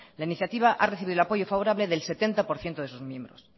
la iniciativa ha recibido el apoyo favorable del setenta por ciento de sus miembros